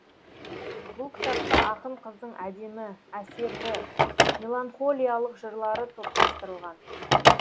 бұл кітапта ақын қыздың әдемі әсерлі меланхолиялық жырлары топтастырылған